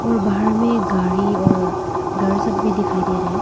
और बाहर में एक गाड़ी और घर सब भी दिखाई दे रहे हैं।